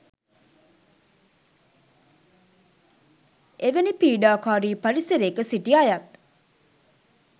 එවැනි පීඩාකාරී පරිසරයක සිටි අයත්